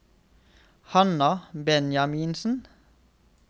Hanna Benjaminsen